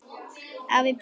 Afi brosir líka.